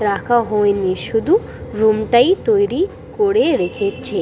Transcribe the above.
রাখা হয়নি শুধু রুম -টাই তৈরি করে রেখেছে।